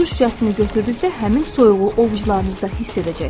Su şüşəsini götürdükdə həmin soyuğu ovucularınızda hiss edəcəksiz.